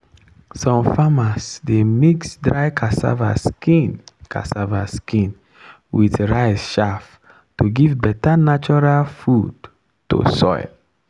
some farmers dey mix dry cassava skin cassava skin with rice chaff to give better natural food to soil.